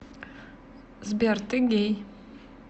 сбер ты гей